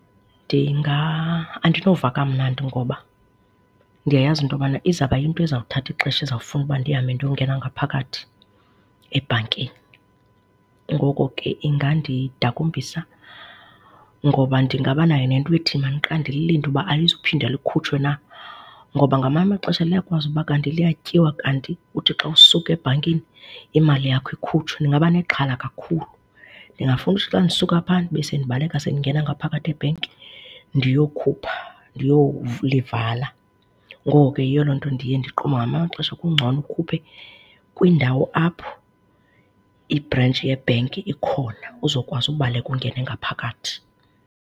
Andinova kamnandi ngoba ndiyayazi into yobana izawuba yinto eza kuthatha ixesha ezafuna uba ndihambe ndiyongena ngaphakathi ebhankini. Ngoko ke ingandidakumbisa ngoba ndingabanayo nento ethi mandiqale ndililinde uba alizuphinda likhutshwe na. Ngoba ngamanye amaxesha liyakwazi uba kanti liyatyiwa kanti uthi xa usuka ebhankini imali yakho ikhutshwe. Ndingaba nexhala kakhulu, ndingafuna ukuthi xa ndisuka phaa ndibe sendibaleka sendingena ngaphakathi ebhanki ndiyokhupha ndiyolivala. Ngoko ke yiyo loo nto ndiye ndiqonde uba ngamanye amaxesha kungcono ukhuphe apho ibhrentshi yebhanka ikhona uzokwazi ubaleka ungene ngaphakathi.